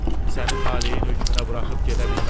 Səni taleyin hökmünə buraxıb gedə bilmərəm.